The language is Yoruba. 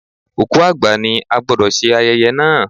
Òkú àgbà ni, a gbọ́dọ̀ ṣe ayẹyẹ náà.